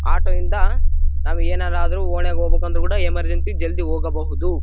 Auto ಯಿಂದ ನಾವು ಏನಾದರೂ ಒಡೆ ಹೋಗ್ಬೇಕು ಅಂದ್ರು ಎಮರ್ಜೆನ್ಸಿ ಜಲ್ದಿ ಹೋಗಬಹುದು.